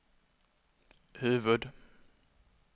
huvud-